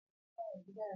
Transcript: Zan rufe makaranta jiya.